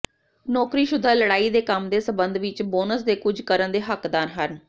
ਨੌਕਰੀਸ਼ੁਦਾ ਲੜਾਈ ਦੇ ਕੰਮ ਦੇ ਸਬੰਧ ਵਿੱਚ ਬੋਨਸ ਦੇ ਕੁਝ ਕਰਨ ਦੇ ਹੱਕਦਾਰ ਹਨ